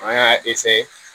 An y'a